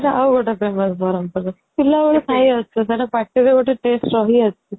ତ ସେଇଟା ଆଉଗୋଟେ famous ବ୍ରହ୍ମପୁର ରେ ପିଲାବେଳୁ ଖାଇ ଆସୁଛୁ ସେଇଟା ପାଟିର ଗୋଟେ taste ରହି ଆସିଛି